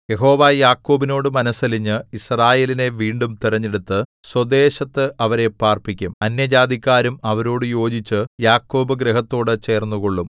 യഹോവ യാക്കോബിനോടു മനസ്സലിഞ്ഞ് യിസ്രായേലിനെ വീണ്ടും തിരഞ്ഞെടുത്തു സ്വദേശത്ത് അവരെ പാർപ്പിക്കും അന്യജാതിക്കാരും അവരോടു യോജിച്ചു യാക്കോബ് ഗൃഹത്തോട് ചേർന്നുകൊള്ളും